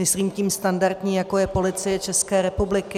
Myslím tím standardní, jako je Policie České republiky.